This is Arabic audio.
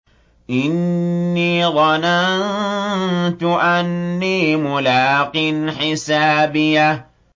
إِنِّي ظَنَنتُ أَنِّي مُلَاقٍ حِسَابِيَهْ